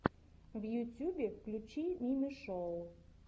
в ютьюбе включи мими шоу